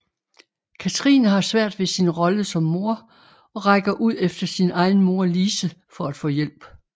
Katrine har svært ved sin rolle som mor og rækker ud efter sin egen mor Lise for at få hjælp